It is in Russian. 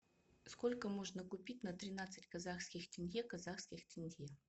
сколько можно купить на тринадцать казахских тенге казахских тенге